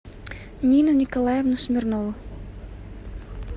нину николаевну смирнову